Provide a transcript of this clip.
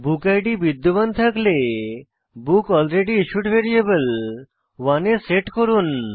বুকিড বিদ্যমান হলে বুকলরেডিস্যুড ভ্যারিয়েবল 1 এ সেট করুন